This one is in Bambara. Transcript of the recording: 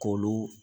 K'olu